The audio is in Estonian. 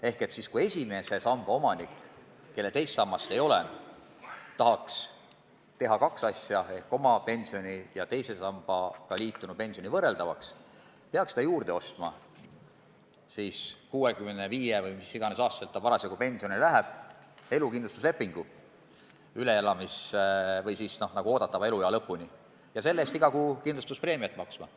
Ehk kui esimese samba omanik, kellel teist sammast ei ole, tahaks kaks asja ehk oma pensioni ja teise sambaga liitunu pensioni võrdväärseks teha, peaks ta 65-aastaselt – või mis iganes vanuses ta pensionile läheb – ostma juurde elukindlustuslepingu oodatava eluea lõpuni ja selle eest iga kuu kindlustuspreemiat maksma.